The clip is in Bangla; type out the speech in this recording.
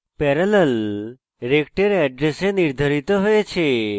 parallel rect এর এড্রেসে নির্ধারিত হয়েছে